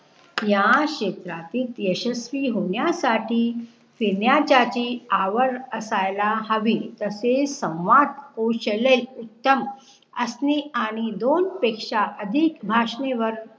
या क्षेत्रातील यशस्वी होण्यासाठी फिरण्यासाठी आवार असायला हावे तसे संवाद कौशल्ये एकदम असणे आणि दोन पेक्षा अधीक भाषेंवर